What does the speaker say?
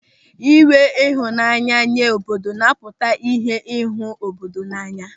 Ịnwe ịhụnanya nye obodo napụta ihe n'ịhụ obodo n'anya.